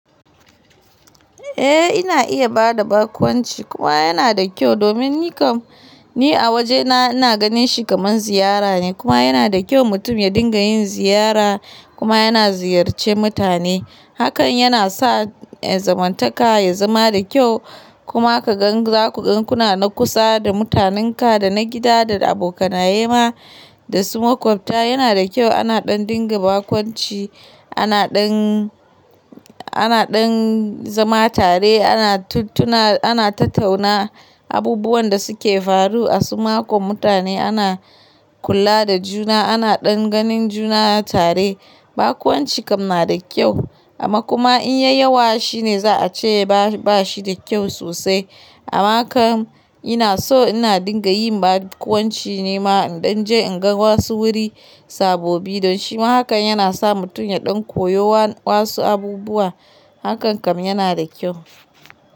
Eh ina iya ba da bakwanci kuma yana da kyau domin yakan, ni a wajena ina ganin shi kamar ziyara ne kuma yana da kyau mutum ya dinga yin ziyara kuma yana ziyarce mutane. Hakan yana sa zamantaka ya zama da kyau kuma ka gan zaku gan kuna na kusa da mutanenka da na gida da abokanaye ma da su makwabta yana da kyau ana ɗan dinga bakunci ana ɗan, ana ɗan zama tare ana tatauna abubuwan da su ke faru a su makon mutane ana kula da juna ana ɗan ganin juna tare. Bakunci kam na da kyau amma kuma in ya yi yawa shi ne za a ce ba, ba shi da kyau sosai amma kam ina so ina dinga yin bakwanci nema in ɗan je in ga wasu wuri sabobi don shima hakan yana sa mutum ya ɗan koyo wasu abubuwa hakan kam yana da kyau.